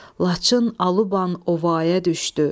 Laçın aluban ovaya düşdü.